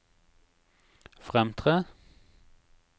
fremtre